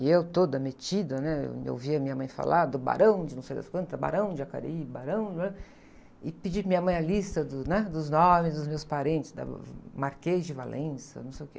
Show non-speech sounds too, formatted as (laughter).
E eu toda metida, né? E eu ouvia minha mãe falar do barão de não sei das quantas , Barão de Jacareí, barão... (unintelligible) E pedi para minha mãe a lista dos nomes dos meus parentes, (unintelligible) Marquês de Valença, não sei o quê.